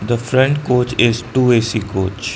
the front coach is two A_C coach.